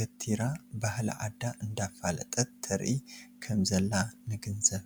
ገቲራ ባህሊ ዓዳ እዳፉለጠት ተርኢ ከም ዘላ ንግንዘብ።